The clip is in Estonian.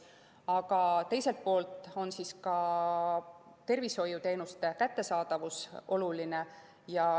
Aga teiselt poolt on ka tervishoiuteenuste kättesaadavus oluline.